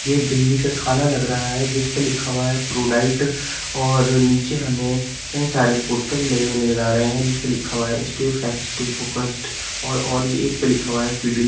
ये बिल्ली का खाना लग रहा है जिस पे लिखा हुआ है प्रोडाइट और नीचे हमें कई सारे पोस्टर भी लगे हुए नजर आ रहे हैं जिसपे लिखा हुआ है स्टे फ्रेश स्टे फोकस्ड और और भी एक पे लिखा हुआ है फ़िडिल --